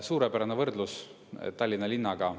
Suurepärane võrdlus Tallinna linnaga.